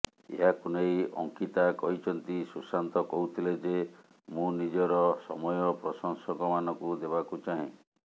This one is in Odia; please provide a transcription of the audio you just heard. ଏହାକୁ ନେଇ ଅଙ୍କିତା କହିଛନ୍ତି ସୁଶାନ୍ତ କହୁଥିଲେ ଯେ ମୁଁ ନିଜର ସମୟ ପ୍ରଶଂସକମାନଙ୍କୁ ଦେବାକୁ ଚାହେଁ